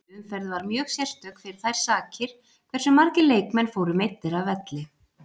Þessi umferð var mjög sérstök fyrir þær sakir hversu margir leikmenn fóru meiddir af velli.